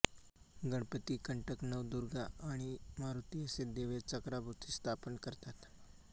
गणपतीकंटकनवदुर्गा आणि मारुती असे देव या चक्राभोवती स्थापन करतात